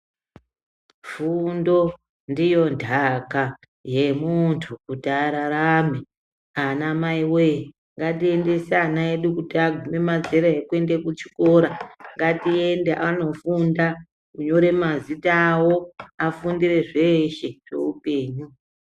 Fundo ndiyo nhaka yemuntu kuti ararame anamai voye ngatiendese ana edu kuti aguma mazera ekuenda kuchikora. Ngatiende anofunda uyu kunyore mazita avo afundire zveshe zveupenyu.